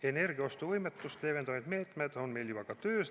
Energiaostuvõimetust leevendavad meetmed on meil juba ka töös.